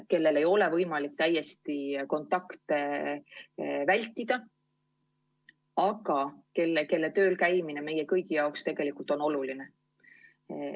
Neil ei ole võimalik täiesti kontakte vältida, aga nende tööl käimine meie kõigi jaoks on oluline.